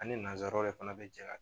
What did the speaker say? Ani nanzaraw yɛrɛ fana bɛ jɛ ka